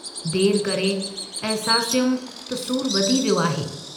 देर करे अहसासियुमि त सूरु वधी वियो आहे।